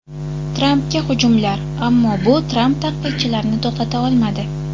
Trampga hujumlar Ammo bu Tramp tanqidchilarini to‘xtata olmadi.